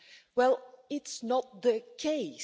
Well, it's not the case.